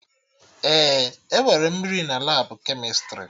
Ee, enwere mmiri na Labụ kemịstrị